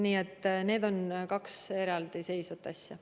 Nii et need on kaks eraldi seisvat asja.